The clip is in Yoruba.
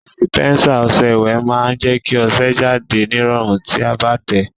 Dìsìpẹ́nsà ọsẹ ìwẹ̀ má n je kí ọsẹ jáde nírọ̀rùn ti a bá tẹ̀ẹ́